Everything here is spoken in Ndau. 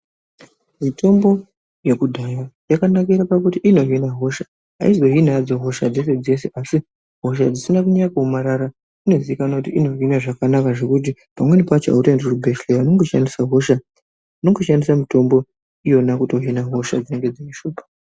Mitombo yekudhaya yakanakira kuti inohina hosha aizohini hayo hosha dzeshe dzeshe asi hosha dzisina kunyanya kuomarara inohina zvakanaka zvokuyi pamweni pacho hauendi kuchibhehleya unongo shandisa miitombo iyona kuti uhine hosha.